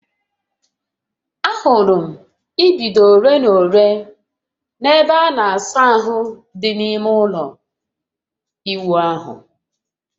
Ahụrụ m idido ole na ole n'ebe a na-asa ahụ dị n'ime ime ụlọ ịwụ ahụ